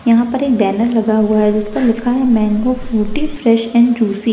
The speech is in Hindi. यहाँ पर एक बैनर लगा हुआ है जहां पर लिखा हुआ है mango Frooti fresh and juice --